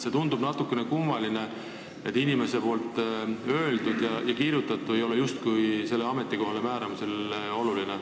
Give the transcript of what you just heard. See tundub natukene kummaline, et inimese öeldu ja kirjutatu ei ole justkui sellele ametikohale määramisel oluline.